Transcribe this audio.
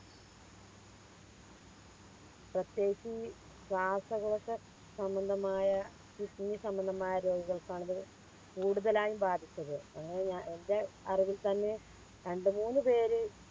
പ്രത്യേകിച്ച് ഈ ശ്വാസങ്ങളൊക്കെ സംബന്ധമായ Kidney സംബന്ധമായ രോഗികൾക്കാണ് കൂടുതലായും ബാധിച്ചത് അങ്ങനെ എൻറെ അറിവിൽ തന്നെ രണ്ടു മൂന്ന് പേര്